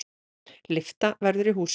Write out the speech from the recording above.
Lyfta verður í húsinu.